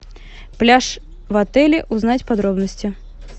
пляж в отеле узнать подробности